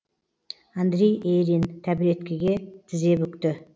андрей ерин тәбіреткеге тізе бүкті